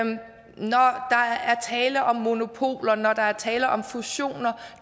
tale om monopoler og når der er tale om fusioner